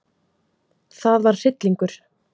Það var hryllingur.